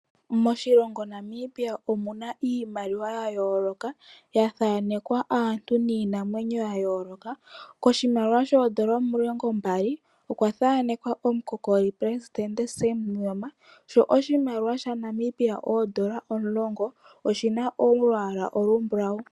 Moshilongo Namibia omuna iimaliwa ya yooloka yathaanekwa aantu niinamwenyo ya yooloka. Koshimaliwa oodola omilongo mbali okwa thaanekwa omu kokoli president Sam Nuujoma, sho oshimaliwa sha Namibia oodola omulongo oshina olwaala olu mbulawu.